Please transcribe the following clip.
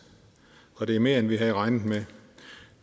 og det er mere end vi havde regnet med